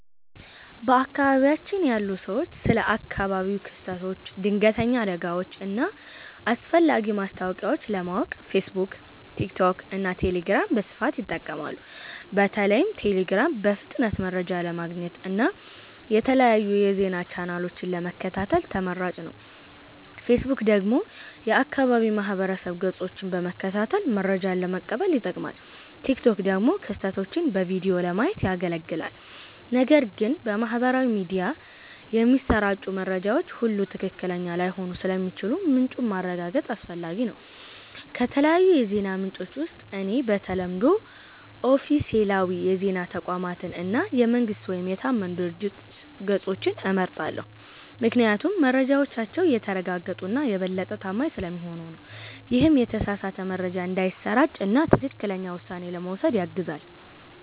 በአካባቢያችን ያሉ ሰዎች ስለ አካባቢያዊ ክስተቶች፣ ድንገተኛ አደጋዎች እና አስፈላጊ ማስታወቂያዎች ለማወቅ ፌስቡክ፣ ቲክቶክ እና ቴሌግራምን በስፋት ይጠቀማሉ። በተለይም ቴሌግራም በፍጥነት መረጃ ለማግኘት እና የተለያዩ የዜና ቻናሎችን ለመከታተል ተመራጭ ነው። ፌስቡክ ደግሞ የአካባቢ ማህበረሰብ ገጾችን በመከታተል መረጃ ለመቀበል ይጠቅማል፣ ቲክቶክ ደግሞ ክስተቶችን በቪዲዮ ለማየት ያገለግላል። ነገር ግን በማህበራዊ ሚዲያ የሚሰራጩ መረጃዎች ሁሉ ትክክለኛ ላይሆኑ ስለሚችሉ ምንጩን ማረጋገጥ አስፈላጊ ነው። ከተለያዩ የዜና ምንጮች ውስጥ እኔ በተለምዶ ኦፊሴላዊ የዜና ተቋማትን እና የመንግስት ወይም የታመኑ ድርጅቶች ገጾችን እመርጣለሁ፤ ምክንያቱም መረጃዎቻቸው የተረጋገጡ እና የበለጠ ታማኝ ስለሚሆኑ ነው። ይህም የተሳሳተ መረጃ እንዳይሰራጭ እና ትክክለኛ ውሳኔ ለመውሰድ ያግዛል።